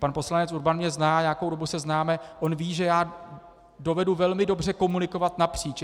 Pan poslanec Urban mě zná, nějakou dobu se známe, on ví, že já dovedu velmi dobře komunikovat napříč.